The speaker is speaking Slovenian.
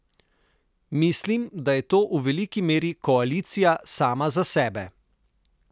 Mislim, da je to v veliki meri koalicija sama za sebe.